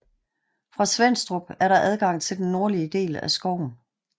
Fra Svenstrup er der adgang til den nordlige del af skoven